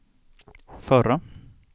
förra